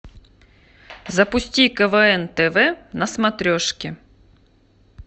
запусти квн тв на смотрешке